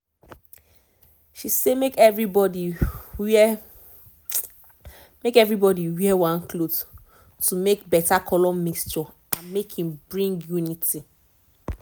she say make everybody wear make everybody wear one cloth to make better color mixture and make e bring unity